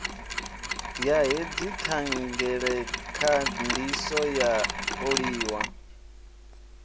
ya hedzi thangelakhandiso yo oliwa